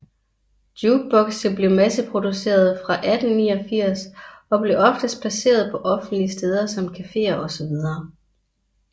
Jukebokse blev masseproducerede fra 1889 og blev oftest placeret på offentlige steder som caféer osv